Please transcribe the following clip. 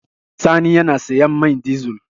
Sani yana sayan man dizel.